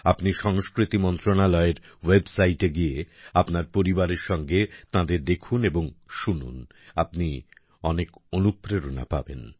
আপনি সংস্কৃতি মন্ত্রণালয়ের ওয়েবসাইটে গিয়ে আপনার পরিবারের সাথে তাঁদের দেখুন এবং শুনুন আপনি অনেক অনুপ্রেরণা পাবেন